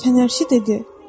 Fənərçi dedi: